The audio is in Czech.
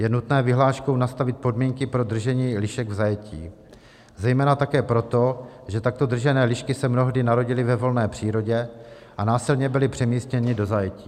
Je nutné vyhláškou nastavit podmínky pro držení lišek v zajetí zejména také proto, že takto držené lišky se mnohdy narodily ve volné přírodě a násilně byly přemístěny do zajetí.